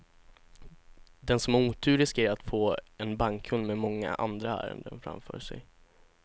Den som har otur riskerar att få en bankkund med många andra ärenden framför sig.